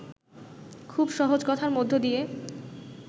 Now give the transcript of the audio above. খুব সহজ কথার মধ্য দিয়ে